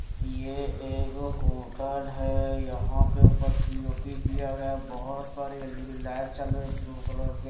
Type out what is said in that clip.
ये एक होटल है यहां पे ऊपर पी_ओ_पी किया गया बहोत सारे एल_इ_डी लाइट चालू है ब्लू कलर के--